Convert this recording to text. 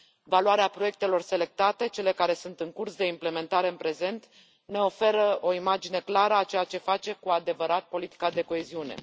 Valoarea proiectelor selectate, cele care sunt în curs de implementare în prezent, ne oferă o imagine clară a ceea ce face cu adevărat politica de coeziune.